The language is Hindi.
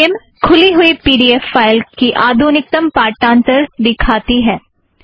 स्किम खुली हुई पी ड़ी ऐफ़ फ़ाइल की आधुनिक्तम पाठांथर दिखाती है